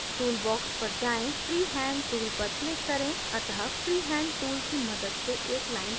tool box पर जाएँ freehand tool पर click करें अतः freehand tool की मदद से एक line draw करें